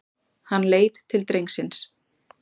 Hann leit til drengsins.